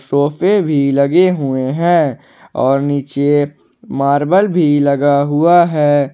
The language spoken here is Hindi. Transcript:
सोफे भी लगे हुए हैं और नीचे मार्बल भी लगा हुआ है।